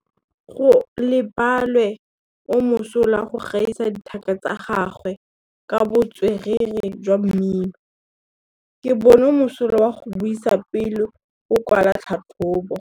Gaolebalwe o mosola go gaisa dithaka tsa gagwe ka botswerere jwa mmino. Ke bone mosola wa go buisa pele o kwala tlhatlhobô.